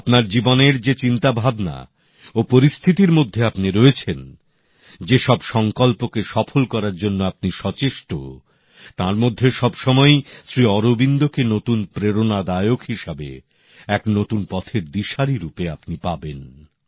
আপনার জীবনের যে চিন্তাভাবনা ও পরিস্থিতির মধ্যে আপনি রয়েছেন যেসব সংকল্পকে সফল করার জন্য আপনি সচেষ্ট তার মধ্যে সবসময়ই শ্রী অরবিন্দকে নতুন প্রেরণাদায়ক হিসেবে এক নতুন পথের দিশারী রূপে আপনি পাবেন